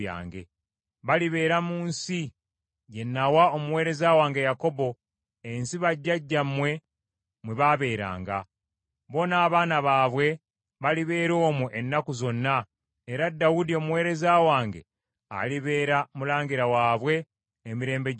Balibeera mu nsi gye nawa omuweereza wange Yakobo, ensi bajjajjammwe mwe baabeeranga. Bo n’abaana baabwe, balibeera omwo ennaku zonna, era Dawudi omuweereza wange alibeera mulangira waabwe emirembe gyonna.